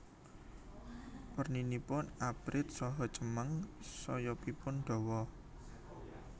Werninipun abrit saha cemeng sayapipun dawa